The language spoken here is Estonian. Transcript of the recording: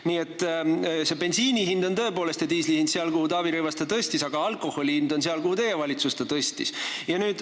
Nii et bensiini ja diisli hind on tõepoolest seal, kuhu Taavi Rõivas selle tõstis, aga alkoholi hind on seal, kuhu teie valitsus selle tõstis.